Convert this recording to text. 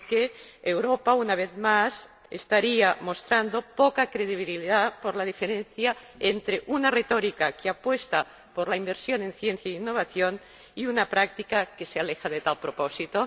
Porque Europa, una vez más, estaría mostrando poca credibilidad debido a la diferencia entre una retórica que apuesta por la inversión en ciencia e innovación y una práctica que se aleja de tal propósito.